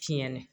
Tiɲɛ na